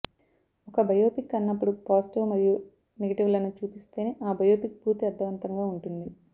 ఒక బయోపిక్ అన్నప్పుడు పాజిటివ్ మరియు నెగటివ్లను చూపిస్తేనే ఆ బయోపిక్ పూర్తి అర్థవంతంగా ఉంటుంది